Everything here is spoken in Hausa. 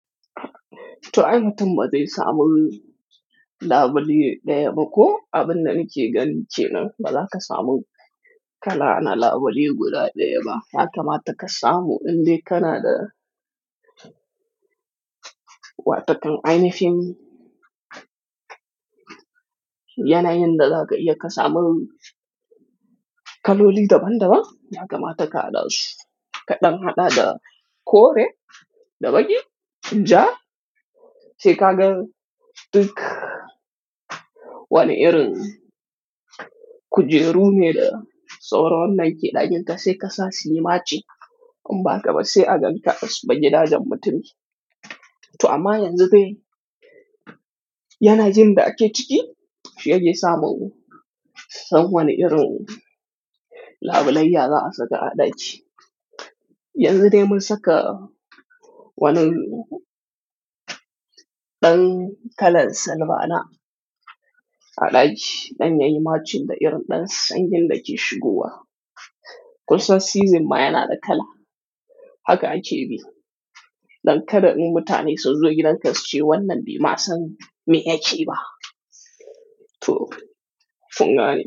To, aimatin ma zai samu lafali ɗaya ba ko abin nan ke gani ce nan, ba lakka samun kala na labule guda ɗaya ba. Yaka ma ta kasa mu inda Kanada wa takan aini fim yana yin da daga iya kasa mun kaloli daban-daban. Haka ma ta kaɗa kaɗan haɗa da kore da baki. In ja, sai ka ga duk wani irin kujeru ne da tsawaron nan ke ɗajinka sai kasa sinima ce. Amma ba ka ba sai a ganka basu bagi ɗajan mutum. To amma yanzu dai yana jin da ake ciki shi ya je samu san wani irin labulayya za a saka a ɗaki. Yanzu dai mun saka wani ɗan kalan salbana a ɗaki, ɗan yayima cikin da irin ɗan sanyin da ke shigowa. Kusan season ma yana da kala. Haka ake bi. Don kada in mutane sunzo gidan ka su ce wannan bai ma san me yake ba. To, fungane.